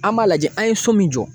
An b'a lajɛ an ye so min jɔ.